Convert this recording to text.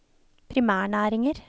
primærnæringer